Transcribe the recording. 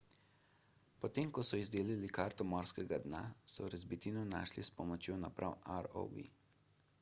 potem ko so izdelali karto morskega dna so razbitino našli s pomočjo naprave rov